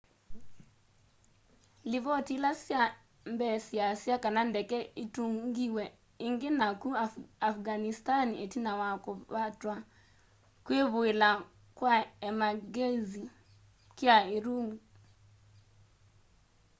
livoti ila sya mbee syiasya kana ndeke itungiwe ingi naku afghanistani itina wa kuvatwa kwivuila kwa emangyenzi kuu urumqi